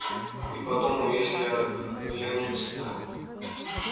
и подумал если оглянутся то